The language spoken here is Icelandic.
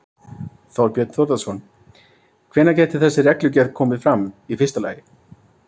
Þorbjörn Þórðarson: Hvenær gæti þessi reglugerð komið fram, í fyrsta lagi?